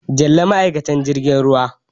Jalli ma'aikatar jirgin ruwa.